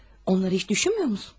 Onları heç düşünmürsən?